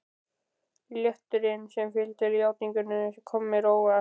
Léttirinn sem fylgdi játningunni kom mér á óvart.